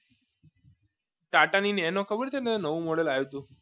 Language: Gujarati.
ટાટાની નેનો ખબર છે નવું modal આવ્યું હતું